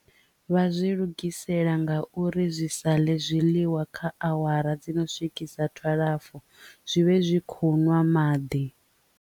Vha zwi lugisela nga uri zwi sa ḽe zwiḽiwa kha awara dzi no swikisa twalafu zwi vhe zwi khou nwa maḓi.